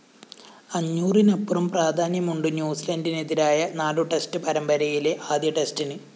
അഞ്ഞൂറിനപ്പുറം പ്രാധാന്യമുണ്ട് ന്യൂസിലന്‍ഡിനെതിരായ നാലു ടെസ്റ്റ്‌ പരമ്പരയിലെ ആദ്യ ടെസ്റ്റിന്